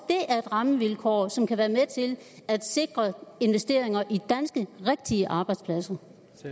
rammevilkår som kan være med til at sikre investeringer i rigtige danske arbejdspladser